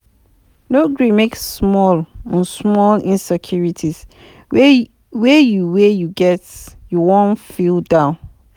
No gree make small um small insecurities wey you wey you get make you um feel down